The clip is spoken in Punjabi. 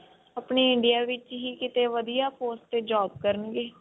ਆਪਣੇ India ਵਿੱਚ ਹੀ ਕਿਤੇ ਵਧੀਆਂ course ਤੇ job ਕਰਨਗੇ